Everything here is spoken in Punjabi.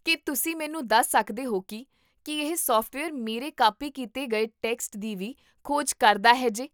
ਕੀ ਤੁਸੀਂ ਮੈਨੂੰ ਦੱਸ ਸਕਦੇ ਹੋ ਕੀ, ਕੀ ਇਹ ਸੌਫਟਵੇਅਰ ਮੇਰੇ ਕਾਪੀ ਕੀਤੇ ਗਏ ਟੈਕਸਟ ਦੀ ਵੀ ਖੋਜ ਕਰਦਾ ਹੈ ਜੇ?